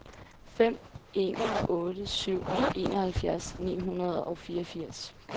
fem en otte syv enoghalvfjerds ni hundrede og fireogfirs